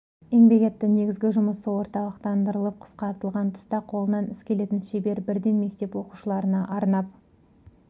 еңбек етті негізгі жұмысы орталықтандырылып қысқартылған тұста қолынан іс келетін шебер бірден мектеп оқушыларына арнап